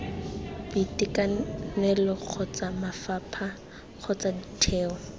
boitekanelo kgotsa mafapha kgotsa ditheo